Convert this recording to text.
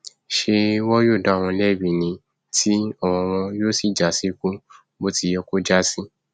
ṣé wọn yóò dá wọn lẹbi ní tí ọrọ wọn yóò sì já síkú bó ti yẹ kó já sí